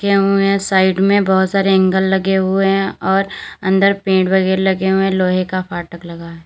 यहाँ में साइड में बहोत सारे एंगेल लगे हुए हैं और अंदर पेड़ वगैरा लगे हुए हैं लोहे का फाटक लगा--